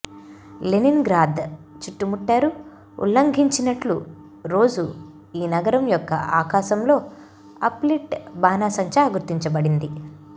Leningrad చుట్టుముట్టారు ఉల్లంఘించినట్లు రోజు ఈ నగరం యొక్క ఆకాశంలో అప్ లిట్ బాణాసంచా గుర్తించబడింది